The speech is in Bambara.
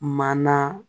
Mana